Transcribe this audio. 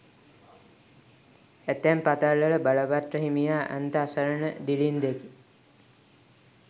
ඇතැම් පතල්වල බලපත්‍ර හිමියා අන්ත අසරණ දිළින්දෙකි.